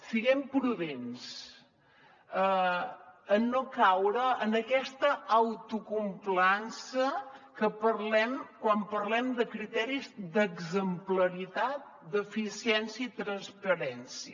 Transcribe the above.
siguem prudents en no caure en aquesta autocomplaença que parlem quan parlem de criteris d’exemplaritat d’eficiència i transparència